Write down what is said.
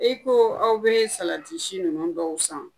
I ko aw be salati si ninnu dɔw san